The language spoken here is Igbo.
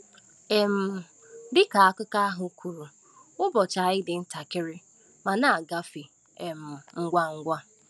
um Dị ka akụkọ ahụ kwuru, ụbọchị anyị dị ntakịrị ma na-agafe um ngwa ngwa.